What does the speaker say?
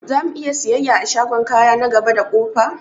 Zamu'iya siyayya a shagon kaya na gaba da ƙofa?